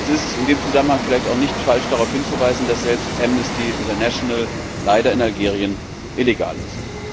Es ist in diesem Zusammenhang vielleicht auch nicht falsch, darauf hinzuweisen, dass selbst Amnesty International leider in Algerien illegal ist.